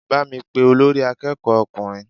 Bá mi pé olórí akẹ́kọ̀ọ́ ọkùnrin!